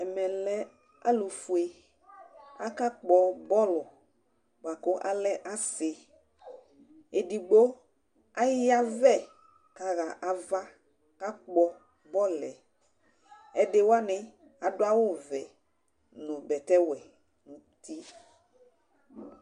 Ɛmɛlɛ alʋfue, akakpɔ bɔlʋ bʋakʋ alɛ asɩ, edigbo ayavɛ kʋ axa ava kʋ akpɔ bɔlʋ yɛ, ɛdiwani adʋ awʋvɛ nʋ bɛtɛwɛ nʋ uti.